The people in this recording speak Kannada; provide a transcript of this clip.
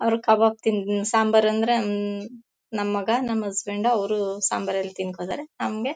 ಅವರು ಕಬಾಬ್ ತಿನ್ ನ್ ಸಾಂಬಾರ್ ಅಂದ್ರೆ ನನ್ ಮಗ ನಮ್ ಹಸ್ಬೆಂಡ್ ಅವರು ಸಾಂಬಾರ್ ಅಲ್ಲಿ ತಿನ್ಕೊಂತಾರೆ ನಮ್ಗೆ